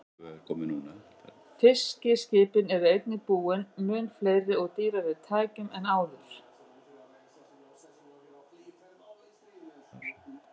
Fiskiskipin eru einnig búin mun fleiri og dýrari tækjum en áður.